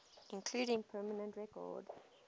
including permanent record